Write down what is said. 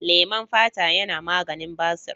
Leman fata yana maganin basir.